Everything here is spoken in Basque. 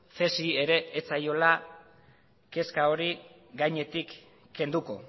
cesi ere ez zaiola kezka hori gainetik kenduko